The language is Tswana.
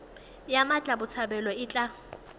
ya mmatla botshabelo e tla